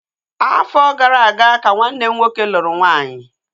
Afọ gara aga ka nwanne m nwoke lụrụ nwaanyị